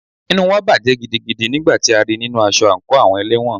Inú wa bàjẹ́ gidigidi nígbà tí a rí í nínu aṣọ àńkò àwọn ẹlẹ́wọ̀n.